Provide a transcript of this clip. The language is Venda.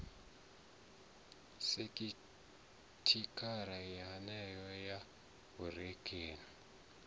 sekhithara yeneyo ya vhureakhovhe na